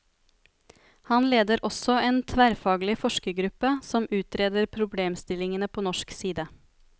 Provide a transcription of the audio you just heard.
Han leder også en tverrfaglig forskergruppe som utreder problemstillingene på norsk side.